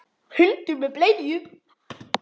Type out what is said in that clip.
Hundur með bleiu!